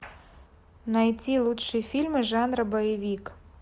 найти лучшие фильмы жанра боевик